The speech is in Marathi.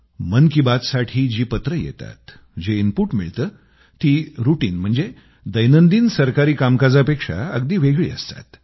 मन की बातसाठी जी पत्रं येतात जे इनपूट मिळतं ती रूटीन म्हणजे दैनंदिन सरकारी कामकाजापेक्षा अगदी वेगळी असतात